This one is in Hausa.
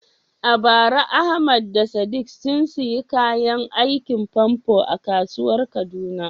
A bara Ahmad da Sadiq sun sayi kayan aikin famfo a kasuwar Kaduna.